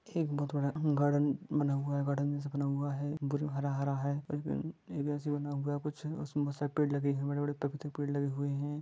एक बथुड़ान हम गार्डन बना हुआ है गार्डन जैसा बना हुआ है कुछ हरा हरा है एज बिन एगासि बना हुआ है कुछ अ समसक पेड़ लगे हुआ है बड़े बड़े तख़्त पेड़ लगे हुऐ हैं।